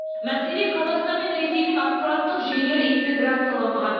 мәселе қазақстан мен ресейдің ақпараттық жүйелері интеграцияланбаған